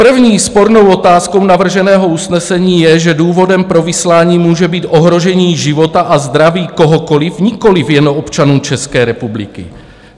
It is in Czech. První spornou otázkou navrženého usnesení je, že důvodem pro vyslání může být ohrožení života a zdraví kohokoliv, nikoliv jenom občanů České republiky.